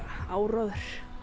áróður